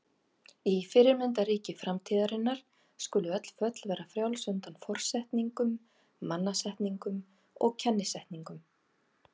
Í fyrirmyndarríki framtíðarinnar skulu öll föll vera frjáls undan forsetningum, mannasetningum og kennisetningum.